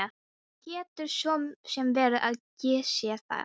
Það getur svo sem verið að ég sé það.